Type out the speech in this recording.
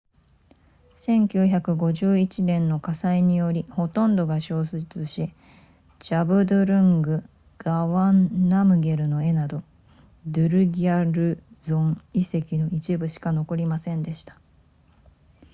1951年の火災によりほとんどが焼失しジャブドゥルングガワンナムゲルの絵などドゥルギャルゾン遺跡の一部しか残りませんでした